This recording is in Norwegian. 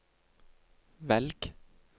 velg